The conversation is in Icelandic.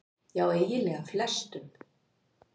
Já eiginlega flestum.